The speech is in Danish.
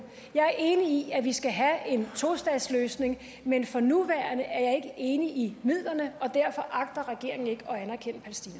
jeg er enig i at vi skal have en tostatsløsning men for nuværende er jeg ikke enig i midlerne og derfor agter regeringen ikke